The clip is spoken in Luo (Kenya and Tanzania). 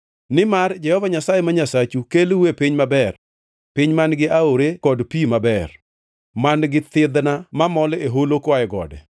Nimar Jehova Nyasaye ma Nyasachu kelou e piny maber, piny man-gi aore kod pi maber, man-gi thidhna mamol e holo koa e gode;